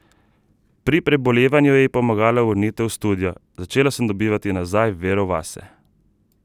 Pri prebolevanju ji je pomagala vrnitev v studio: "Začela sem dobivati nazaj vero vase.